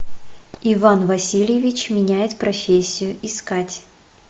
иван васильевич меняет профессию искать